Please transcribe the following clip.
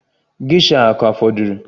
Gesha a ka fọdụrụ?